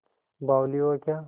बावली हो क्या